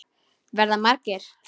Verða margir?